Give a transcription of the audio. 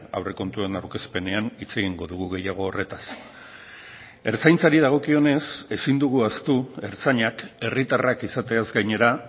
aurrekontuen aurkezpenean hitz egingo dugu gehiago horretaz ertzaintzari dagokionez ezin dugu ahaztu ertzainak herritarrak izateaz gainera